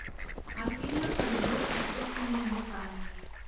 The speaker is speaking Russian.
афина как делать искусственное дыхание